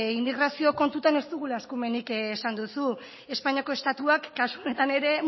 inmigrazio kontutan ez dugula eskumenik esan duzu espainiako estatuak kasu honetan ere